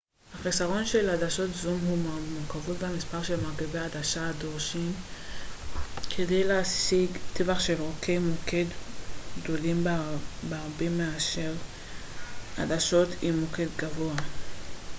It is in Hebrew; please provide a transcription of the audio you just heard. החיסרון של עדשות זום הוא שהמורכבות והמספר של מרכיבי עדשה הדרושים כדי להשיג טווח של אורכי מוקד גדולים בהרבה מאשר עדשות עם מוקד קבוע